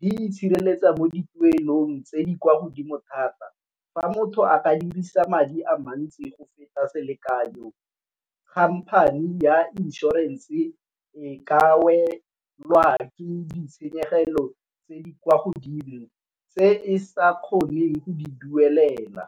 di itshireletsa mo dituelong tse di kwa godimo thata. Fa motho a ka dirisa madi a mantsi go feta selekanyo company ya inšorense e ka welwa ke ditshenyegelo tse di kwa godimo tse e sa kgoneng go di duelela.